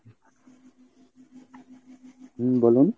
হুম বলুন।